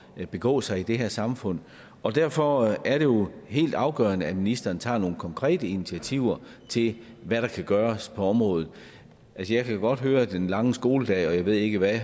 at begå sig i det her samfund og derfor er det jo helt afgørende at ministeren tager nogle konkrete initiativer til hvad der kan gøres på området altså jeg kan godt høre det om den lange skoledag og jeg ved ikke hvad